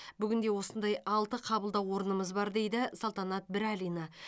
бүгінде осындай алты қабылдау орнымыз бар дейді салтанат бірәлина